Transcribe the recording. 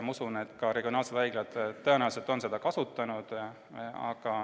Ma usun, et ka regionaalsed haiglad on seda tõenäoliselt kasutanud.